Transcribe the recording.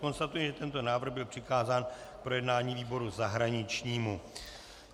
Konstatuji, že tento návrh byl přikázán k projednání výboru zahraničnímu.